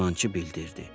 Dəyirmançı bildirdi.